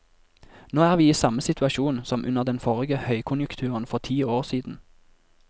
Nå er vi i samme situasjon som under den forrige høykonjunkturen for ti år siden.